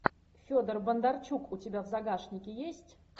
федор бондарчук у тебя в загашнике есть